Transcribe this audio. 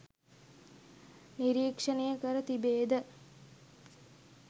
නිරීක්ෂණය කර තිබේද?